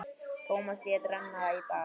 Tómas lét renna í bað.